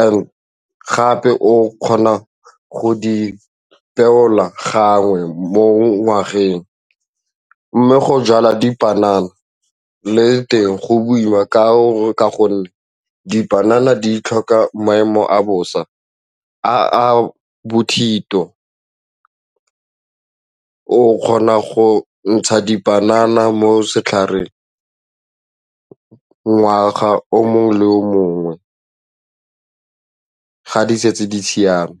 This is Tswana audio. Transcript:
and gape o kgona go di beola gangwe mo ngwageng mme go jala dipanana le teng go boima ka gonne dipanana di tlhoka maemo a bosa a a bothito, o kgona go ntsha dipanana mo setlhareng ngwaga o mongwe le o mongwe ga di setse di siame.